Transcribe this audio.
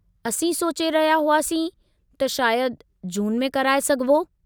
असीं सोचे रहिया हुआसीं त शायदि जून में कराए सघिबो?